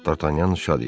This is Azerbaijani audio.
Dartanyan şad idi.